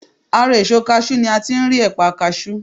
Ara èso kaṣú ni a ti ń rí ẹ̀pà kaṣú.